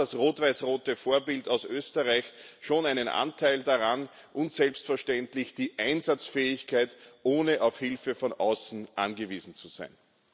Da hat das rot weiß rote Vorbild aus Österreich schon einen Anteil daran, und selbstverständlich die Einsatzfähigkeit, ohne auf Hilfe von außen angewiesen zu sein.